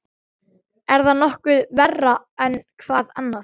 Er það nokkuð verra en hvað annað?